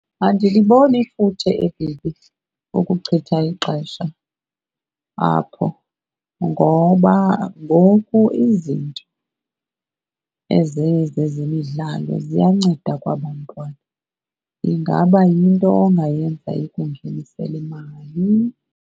Andiliboni ifuthe ukuchitha ixesha apho, ngoba ngoku izinto ezezezemidlalo ziyanceda kwabantwana. Ingaba yinto ongayenza ikungenisele imali.